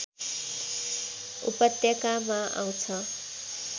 उपत्यकामा आउँछ